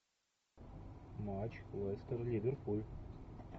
матч лестер ливерпуль